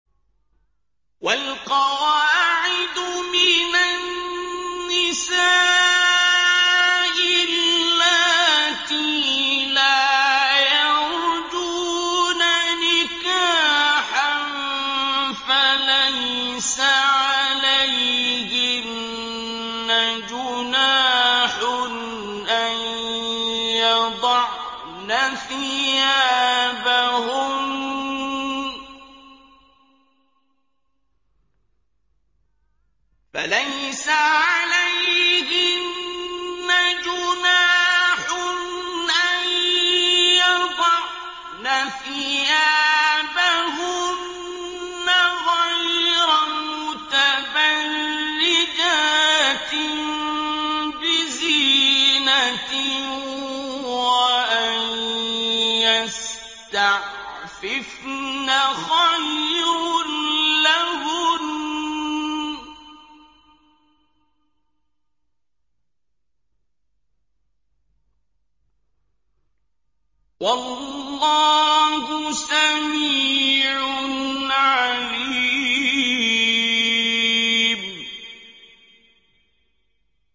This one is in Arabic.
وَالْقَوَاعِدُ مِنَ النِّسَاءِ اللَّاتِي لَا يَرْجُونَ نِكَاحًا فَلَيْسَ عَلَيْهِنَّ جُنَاحٌ أَن يَضَعْنَ ثِيَابَهُنَّ غَيْرَ مُتَبَرِّجَاتٍ بِزِينَةٍ ۖ وَأَن يَسْتَعْفِفْنَ خَيْرٌ لَّهُنَّ ۗ وَاللَّهُ سَمِيعٌ عَلِيمٌ